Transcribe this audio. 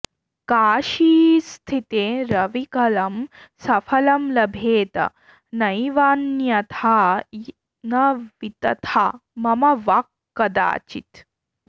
काशीस्थिते रविकलं सफलं लभेत नैवान्यथा न वितथा मम वाक्कदाचित्